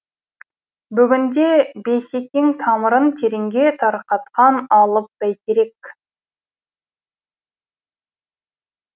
бүгінде бейсекең тамырын тереңге тарқатқан алып бәйтерек